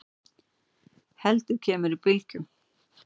heldur kemur í bylgjum.